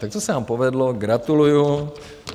Tak to se vám povedlo, gratuluji.